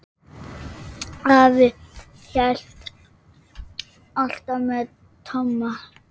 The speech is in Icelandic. Afi hélt alltaf með Tomma.